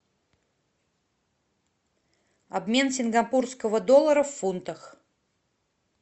обмен сингапурского доллара в фунтах